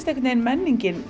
einhvern veginn menningin